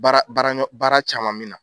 Baara baara ɲɔ, baara caman min na.